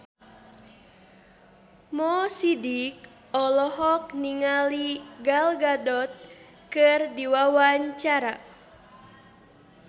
Mo Sidik olohok ningali Gal Gadot keur diwawancara